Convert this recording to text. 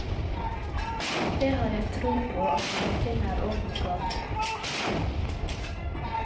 Det har jeg tro på at vi finner orden på etter hvert.